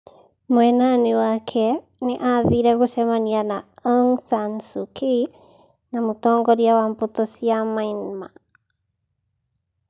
Mwena-inĩ wake, nĩ aathire gũcemania na Aung Sun Suu Kyi na mũtongoria wa mbutu cia Myanmar.